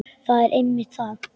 Það er einmitt það.